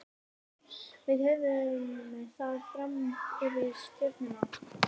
Við höfum það fram yfir Stjörnuna.